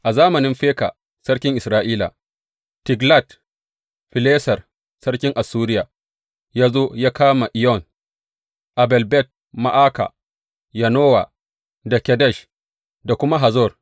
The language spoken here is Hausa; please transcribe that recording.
A zamanin Feka sarkin Isra’ila, Tiglat Fileser sarkin Assuriya ya zo ya kama Iyon, Abel Bet Ma’aka, Yanowa da Kedesh da kuma Hazor.